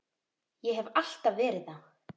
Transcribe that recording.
Ég hef alltaf verið það.